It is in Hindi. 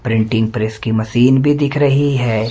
प्रिंटिंग प्रेस की मशीन भी दिख रही है।